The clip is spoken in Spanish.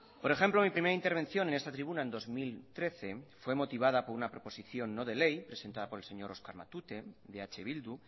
por ejemplo en mi primera intervención en esta tribuna en dos mil trece fue motivada no de ley presentada por el señor oscar matute de eh bildu